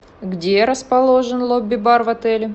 где расположен лоби бар в отеле